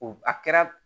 O a kɛra